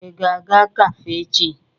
Ị ga-aga kafe echi?